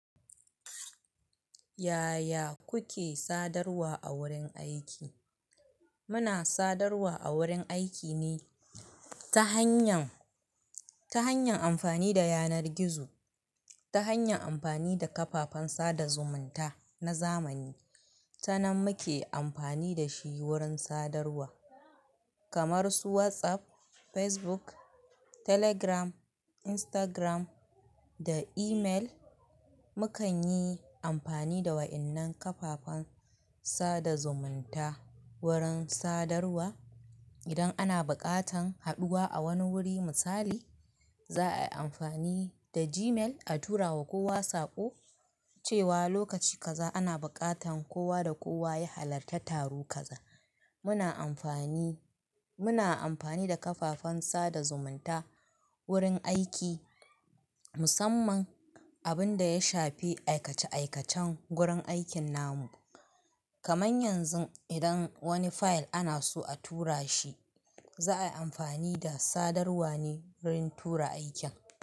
Yaya kuke sadarwa a wurin aiki? Muna sadarwa a wurin aiki ne ta hanyar, ta hanyar amfani da yanar gizo, ta hanyar amfani da kafafen sada zumunta na zamani. Tanan muke amfani da shi wurin sadarwa kamar su WhatsApp, Facebook, Telegram, Instagram da email. Mukan yi amfani da waɗannan kafafen sada zumunta wurin sadarwa. Idan ana buƙatar haɗuwa a wani wuri misali, za a yi amfani da Gmail a tura wa kowa saƙo cewa lokaci kaza ana buƙatan kowa da kowa ya halarta taro kaza. Muna amfani, muna amfani da kafafen sada zumunta wurin aiki musamman abin da ya shafi aikace aikacen gurin aikin namu. Kaman yanzu idan wani fayil ana so a tura shi, za'a yi amfani da sadarwa ne wurin tura aikin.